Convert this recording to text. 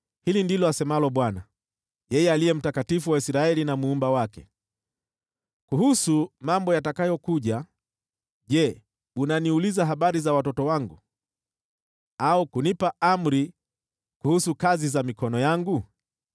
“Hili ndilo asemalo Bwana , yeye Aliye Mtakatifu wa Israeli na Muumba wake: Kuhusu mambo yatakayokuja, je, unaniuliza habari za watoto wangu, au kunipa amri kuhusu kazi za mikono yangu?